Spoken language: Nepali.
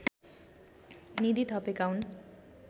निधि थपेका हुन्